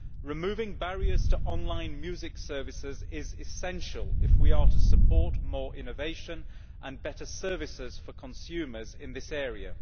Removing barriers to online music services is essential if we are to support more innovation and better services for consumers in this area.